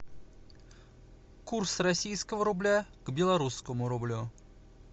курс российского рубля к белорусскому рублю